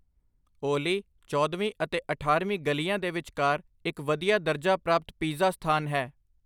ਓਲੀ ਚੌਦਵੀਂ ਅਤੇ ਅਠਾਰ੍ਹਵੀਂ ਗਲੀਆਂ ਦੇ ਵਿਚਕਾਰ ਇੱਕ ਵਧੀਆ ਦਰਜਾ ਪ੍ਰਾਪਤ ਪੀਜ਼ਾ ਸਥਾਨ ਹੈ